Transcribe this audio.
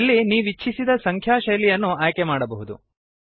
ಇಲ್ಲಿ ನೀವು ನೀವಿಚ್ಛಿಸಿದ ಸಂಖ್ಯಾ ಶೈಲಿಯನ್ನು ಆಯ್ಕೆಮಾಡಬಹುದು